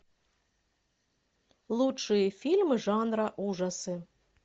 лучшие фильмы жанра ужасы